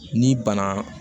Ni bana